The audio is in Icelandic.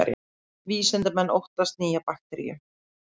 Vísindamenn óttast nýja bakteríu